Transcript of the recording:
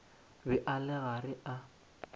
be a le gare a